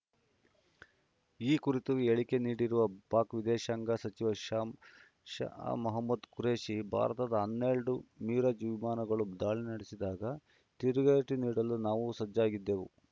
ಈ ಕುರಿತು ಹೇಳಿಕೆ ನೀಡಿರುವ ಪಾಕ್‌ ವಿದೇಶಾಂಗ ಸಚಿವ ಶಾ ಶಾಮಹಮೂದ್‌ ಖುರೇಷಿ ಭಾರತದ ಹನ್ನೆರಡು ಮಿರಾಜ್‌ ವಿಮಾನಗಳು ದಾಳಿ ನಡೆಸಿದಾಗ ತಿರುಗೇಟು ನೀಡಲು ನಾವು ಸಜ್ಜಾಗಿದ್ದೆವು